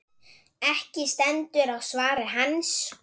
Ekki stendur á svari hans.